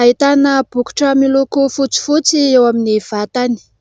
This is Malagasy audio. Ahitana bokotra miloko fotsifotsy eo amin'ny vatany.